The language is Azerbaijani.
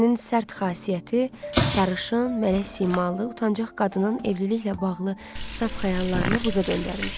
Ərinin sərt xasiyyəti sarışın, mələk simalı, utancaq qadının evliliklə bağlı saf xəyallarını buza döndərmişdi.